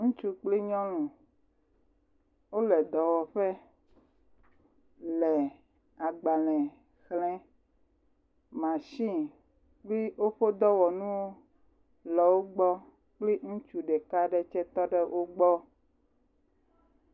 Ŋutsu kple nyɔnu, wole dɔwɔƒe le agbalẽ xlẽe, mashini kple woƒe dɔwɔnu le wo gbɔ kple ŋutsu ɖeka aɖe tse tɔ ɖe wo gbɔ.